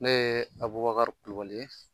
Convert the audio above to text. Ne ye Abubakari Kulubali ye.